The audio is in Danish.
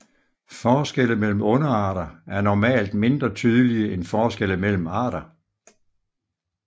Forskelle mellem underarter er normalt mindre tydelige end forskelle mellem arter